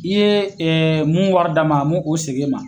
I ye mun wari d'a ma a m'o o segin e ma